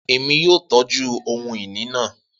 Emi yoo tọju ohun-ini naa